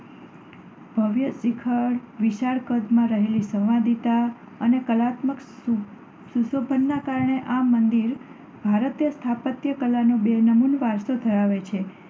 ભવ્ય શિખર, વિશાળ કદમાં રહેલી સંવાદિતા અને કલાત્મક શું~સુશોભનના કારણે આ મંદિર ભારતીય સ્થાપત્ય કલાનો બેનમૂન વારસો ધરાવે છે.